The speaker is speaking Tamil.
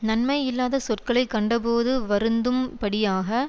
நன்மை இல்லாதச் சொற்களை கண்டபோது வருந்தும்படியாக